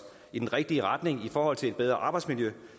i den rigtige retning i forhold til et bedre arbejdsmiljø